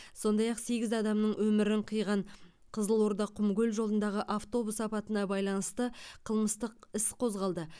сондай ақ сегіз адамның өмірін қиған қызылорда құмкөл жолындағы автобус апатына байланысты қылмыстық іс қозғалды